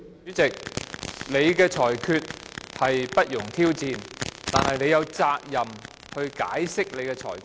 主席，你的裁決不容挑戰，但你有責任解釋你的裁決。